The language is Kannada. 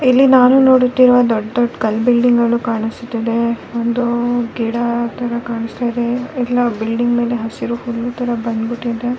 ಇಲ್ಲಿ ನಾನು ನೋಡುತ್ತಿರುವ ದೊಡ್ಡ ದೊಡ್ಡ ಕಲ್ಲು ಬಿಲ್ಡಿಂಗ್ ಅಲ್ಲೂ ಕಾಣಿಸುತ್ತಿದೆ ಒಂದು ಗಿಡ ತರ ಕಾಣಿಸುತ್ತಿದೆ ಇಲ್ಲಿ ನಾವು ಬಿಲ್ಡಿಂಗ್ ಮೇಲೆ ಹಸಿರು ಹುಲ್ಲು ತರ ಬಂದ್ ಬಿಟ್ಟಿದೆ--